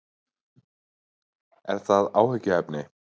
Er það áhyggjuefni?